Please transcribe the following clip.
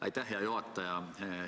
Aitäh, hea juhataja!